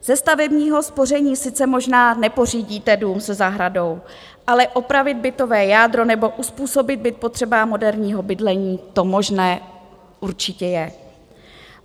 Ze stavebního spoření sice možná nepořídíte dům se zahradou, ale opravit bytové jádro nebo uzpůsobit byt potřebám moderního bydlení, to možné určitě je.